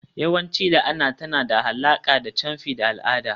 yawanci la'ana tana da alaƙa da camfi da al'ada.